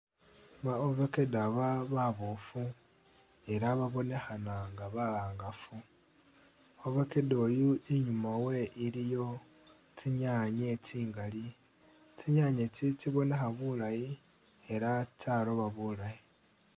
Ba ovakedo aba baboofu ela bobonekhana nga bahangafu. Ovakedo oyu inyuma we iliyo tsinyaanye tsingali, tsinyanye itsi tsibonekha bulaayi ela tsyaroba bulaayi